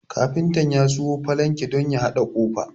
Kafinta ya sayo falanki don ya haɗa ƙofa